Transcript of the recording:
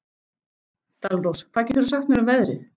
Dalrós, hvað geturðu sagt mér um veðrið?